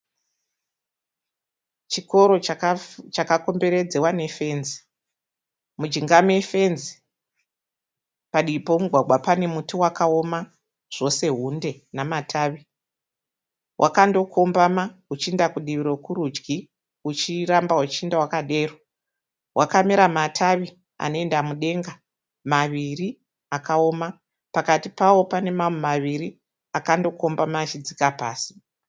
Chikoro chakakomberedzewa nefenzi mujinga mefenzi padivi pomugwagwa pane muti wakaoma zvose hunde namatavi wakandokombama uchiinda kudivi rokurudyi uchiramba uchiinda wakadero wakamera matavi anoenda mudenga maviri akaoma pakati pawo pane mamwe maviri akandokombama achidzika pasi.